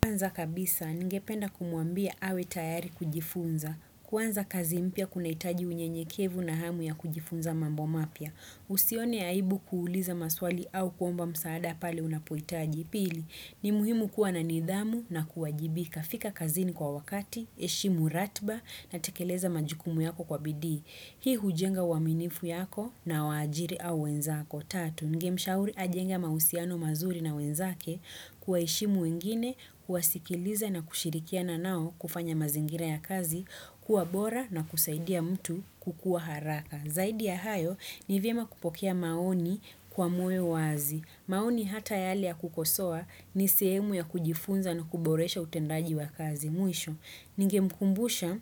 Kwanza kabisa, nigependa kumuambia awe tayari kujifunza. Kwanza kazi mpya kuna itaji unyenyekevu na hamu ya kujifunza mambo mapia. Usione aibu kuuliza maswali au kuomba msaada pale unapuitaji. Pili ni muhimu kuwa na nidhamu na kuwajibika. Fika kazini kwa wakati, eshimu ratba na tekeleza majukumu yako kwa bidii. Hii hujenga uaminifu yako na waajiri au wenzako. Ningemshauri ajenga mausiano mazuri na wenzake kuwaeshimu wengine kuwasikiliza na kushirikia na nao kufanya mazingira ya kazi kuwa bora na kusaidia mtu kukuwa haraka. Zaidi ya hayo ni vyema kupokea maoni kwa moyo wazi. Maoni hata yale ya kukosua ni sehemu ya kujifunza na kuboresha utendaji wa kazi. Mwisho, ningemkumbusha